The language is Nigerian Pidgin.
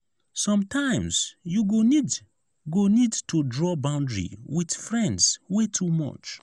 sometimes you go need go need to draw boundary with friends wey too much.